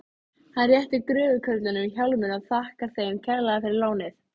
Hann réttir gröfukörlunum hjálminn og þakkar þeim kærlega fyrir lánið.